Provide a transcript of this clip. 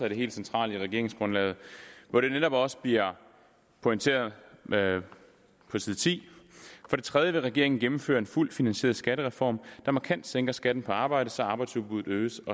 helt centrale i regeringsgrundlaget hvor det netop også bliver pointeret på side 10 for det tredje vil regeringen gennemføre en fuldt finansieret skattereform der markant sænker skatten på arbejde så arbejdsudbuddet øges